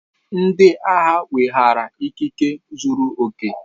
Ndị agha weghaara ikike zuru oke.